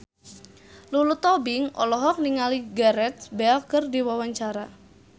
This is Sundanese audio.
Lulu Tobing olohok ningali Gareth Bale keur diwawancara